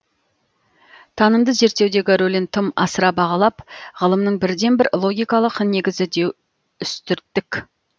танымды зерттеудегі рөлін тым асыра бағалап ғылымның бірден бір логикалық негізі деу үстірттік